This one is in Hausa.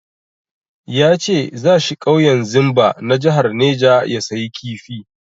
Ya ce za shi ƙauyen Zimba na jahar neja ya sayi kifi.